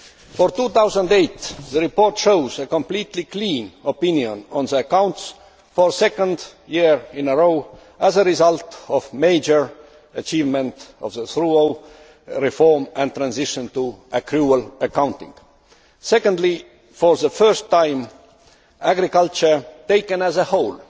For 2008, the report shows a completely clean opinion on the accounts for the second year in a row, as a result of the major achievement of the thorough reform and transition to accrual accounting. Secondly, for the first time, agriculture, taken as a whole,